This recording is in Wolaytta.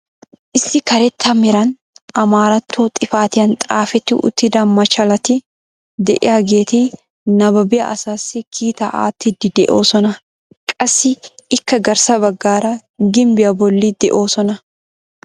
Issi karetta meran amaaratto xifatiyaan xaafetti uttida machchalati de'iyaageti nababiyaa asaassi kiitaa aattiidi de'oosona. qassi ikka garssa baggaara gimbbiyaa bolli de'oosona.